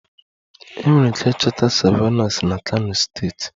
Enwere ike ịchọta Savannahs na kano steeti